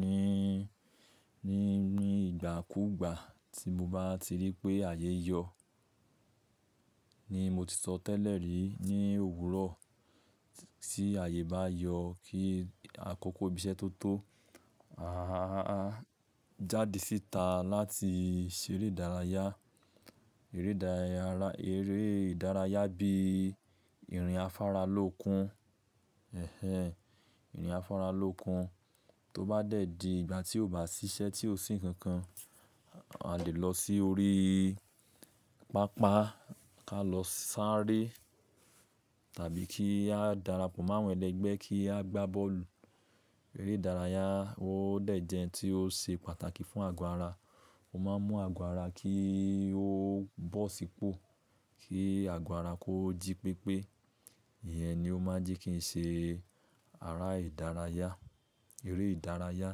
ní, ní, ní ìgbà kú ìgbà tí mo bá ti rí pé ààyè yọ. Ni mo ti sọ tẹ́lẹ̀ rí ní òwúrọ̀ tí ààyè bá yọ kí àkókò ibi iṣẹ́ tó tó, àháhàá jáde síta láti ṣeré ìdárayá. Eré ìdárayá Eré ìdárayá bí i ìrìn afáralókun, ẹhẹ̀n ẹhẹ̀n, ìrìn afáralókun tó bá dẹ̀ di ìgbà tí o bá ṣiṣẹ́ tí o sì ń kankan, a lè lọ sí orí pápá ká lọ sáré tàbí kí a darapọ̀ mọ́ àwọn ẹlẹgbẹ́ kí a gbá bọ́ọ̀lù. Eré ìdárayá ó dẹ̀ jẹ́ tí ó ṣe pàtàkì fún àgọ́ ara. Ó máa ń mú àgọ́ ara kí ó bọ́ sípò, kí àgọ́ ara kó jí pépé. Ìyẹn ni o máa ń jí kí n ṣe ara ìdárayá, eré ìdárayá.